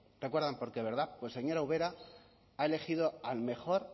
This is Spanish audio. recuerdan por qué verdad pues señora ubera ha elegido al mejor